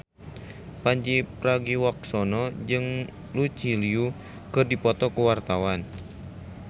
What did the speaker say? Pandji Pragiwaksono jeung Lucy Liu keur dipoto ku wartawan